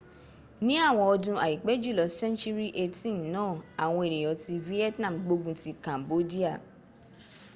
ní àwọn ọdun aipẹ julọ century 18 náà àwọn eniyan ti vietnam gbógun ti cambodia